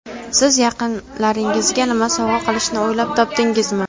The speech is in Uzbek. Siz yaqinlaringizga nima sovg‘a qilishni o‘ylab topdingizmi?